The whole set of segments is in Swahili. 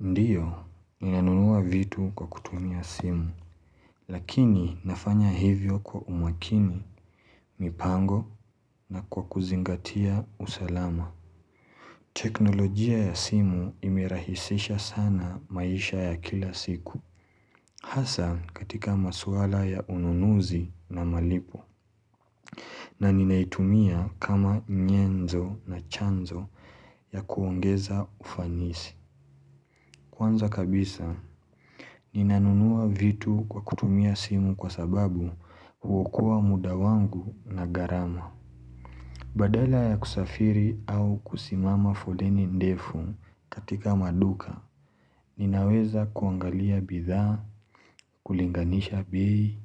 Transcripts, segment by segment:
Ndiyo, ninanunua vitu kwa kutumia simu, lakini nafanya hivyo kwa umakini, mipango na kwa kuzingatia usalama. Teknolojia ya simu imerahisisha sana maisha ya kila siku, hasa katika maswala ya ununuzi na malipo. Na ninaitumia kama nyenzo na chanzo ya kuongeza ufanisi. Kwanza kabisa, ninanunua vitu kwa kutumia simu kwa sababu hukoa mudawangu na garama. Badala ya kusafiri au kusimama foleni ndefu katika maduka, ninaweza kuangalia bidha, kulinganisha bei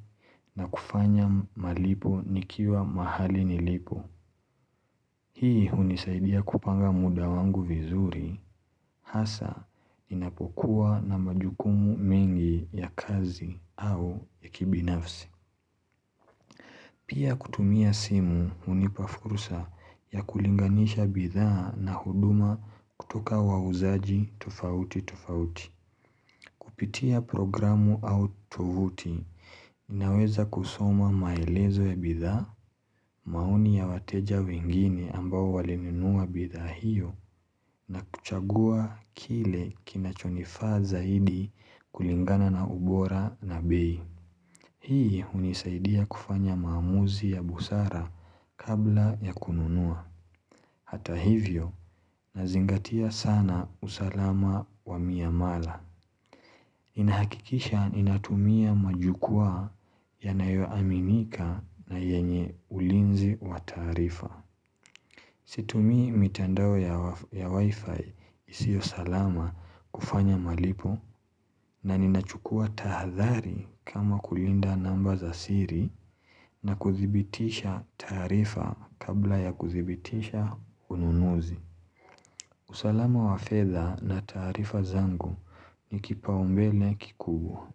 na kufanya malipo nikiwa mahali nilipo. Hii unisaidia kupanga muda wangu vizuri, hasa ninapokuwa na majukumu mingi ya kazi. Pia kutumia simu unipafurusa ya kulinganisha bidhaa na huduma kutoka wa uzaji tufauti tufauti. Kupitia programu au tuvuti, inaweza kusoma maelezo ya bidhaa, mauni ya wateja wengine ambao walininua bidhaa hiyo na kuchagua kile kinachonifaa hidi kulingana na ubora na bei. Hii unisaidia kufanya mamuzi ya busara kabla ya kununua. Hata hivyo nazingatia sana usalama wa miamala. Inahakikisha inatumia majukua yanayoaminika na yenye ulinzi wa taarifa. Situmii mitandao ya wifi isio salama kufanya malipo na ninachukua tahadhari kama kulinda namba za siri na kuthibitisha taarifa kabla ya kuthibitisha ununuzi. Usalama wafedha na taarifa zangu ni kipaombele kikubwa.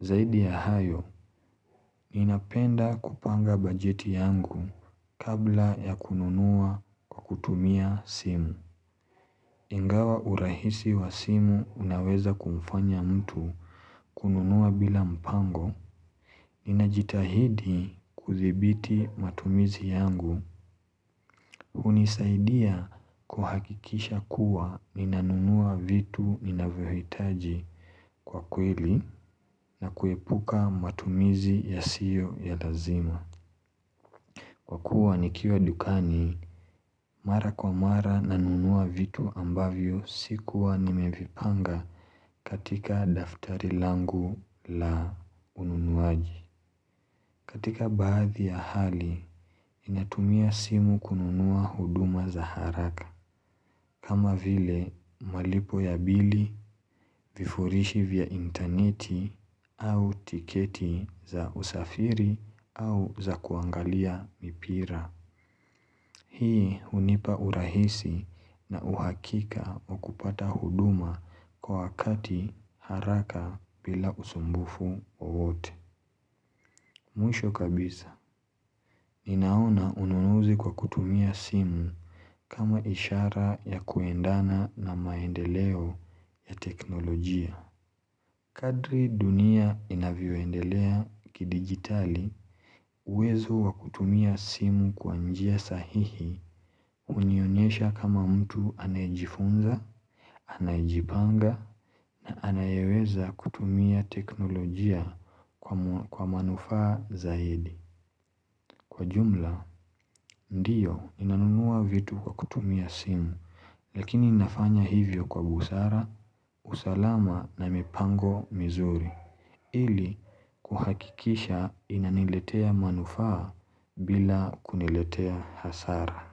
Zaidi ya hayo, ninapenda kupanga bajeti yangu kabla ya kununua kukutumia simu. Ingawa urahisi wa simu unaweza kumfanya mtu kununua bila mpango Ninajitahidi kuthibiti matumizi yangu unisaidia kuhakikisha kuwa ninanunua vitu ninavyohitaji kwa kweli na kuepuka matumizi ya siyo ya lazima Kwa kuwa nikiwa dukani, mara kwa mara nanunua vitu ambavyo sikuwa nimevipanga katika daftari langu la ununuaji. Katika baadhi ya hali, inatumia simu kununua huduma za haraka. Kama vile malipo ya bili vifurishi vya interneti au tiketi za usafiri au za kuangalia mipira. Hii unipa urahisi na uhakika wakupata huduma kwa wakati haraka bila usumbufu wowote. Mwisho kabisa, inaona ununuzi kwa kutumia simu kama ishara ya kuendana na maendeleo ya teknolojia. Kadri dunia inavyoendelea kidigitali uwezo wa kutumia simu kwa njia sahihi unionyesha kama mtu anajifunza, anajibanga na anayeweza kutumia teknolojia kwa manufaa zaidi. Kwa jumla, ndiyo, inanunua vitu kwa kutumia simu, lakini nafanya hivyo kwa busara, usalama na mipango mizuri. Ili, kuhakikisha inaniletea manufaa bila kuniletea hasara.